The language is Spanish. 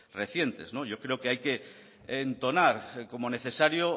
recientes yo creo que hay que entonar como necesario